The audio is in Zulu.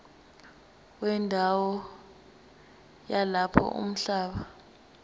wendawo yalapho umhlaba